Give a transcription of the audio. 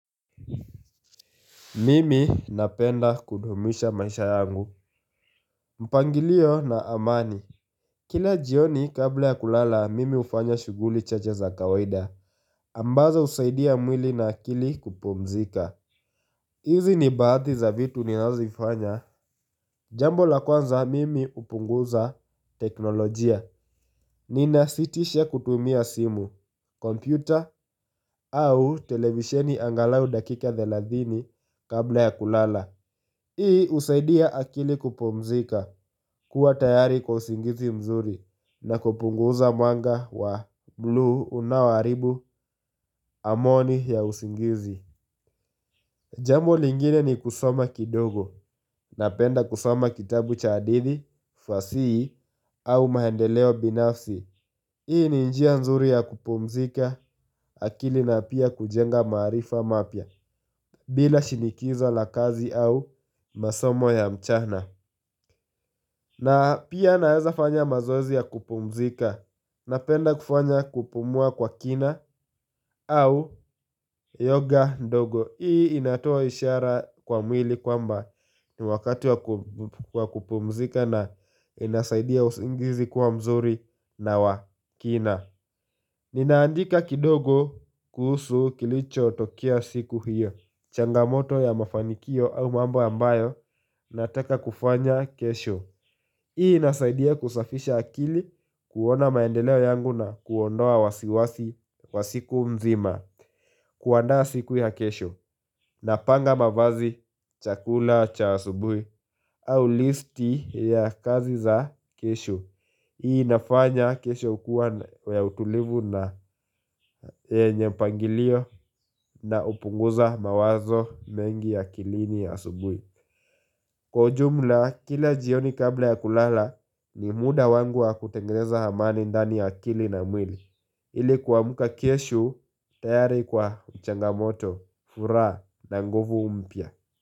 Mimi napenda kudumisha maisha yangu mpangilio na amani Kila jioni kabla ya kulala mimi hufanya shughuli chache za kawaida ambazo husaidia mwili na akili kupumzika hizi ni baadhi za vitu ni nazozifanya Jambo la kwanza mimi hupunguza teknolojia Nina sitisha kutumia simu, kompyuta au televisieni angalau dakika thelathini kabla ya kulala Hii husaidia akili kupumzika kuwa tayari kwa usingizi mzuri na kupunguza mwanga wa bluu unaharibu amani ya usingizi Jambo lingine ni kusoma kidogo na penda kusoma kitabu cha hadithi, fasihi au maendeleo binafsi Hii ni njia nzuri ya kupumzika akili na pia kujenga maarifa mapya bila shinikiza la kazi au masomo ya mchana na pia naweza fanya mazoezi ya kupumzika Napenda kufanya kupumua kwa kina au yoga ndogo Hii inatoa ishara kwa mwili kwa mba ni wakati wa kupumzika na inasaidia usingizi kuwa mzuri na wa kina Ninaandika kidogo kuhusu kilicho tokea siku hiyo changamoto ya mafanikio au mambo ambayo Nataka kufanya kesho Hii inasaidia kusafisha akili kuona maendeleo yangu na kuondoa wasiwasi wa siku mzima kuandaa siku ya kesho na panga mavazi chakula cha asubuhi au listi ya kazi za kesho Hii nafanya kesho kuwa ya utulivu na yenye mpangilio na hupunguza mawazo mengi akilini asubuhi Kwa ujumla, kila jioni kabla ya kulala ni muda wangu wa kutengeneza amani ndani ya akili na mwili ili kuamka kesho, tayari kwa changamoto, furaha na nguvu mpya.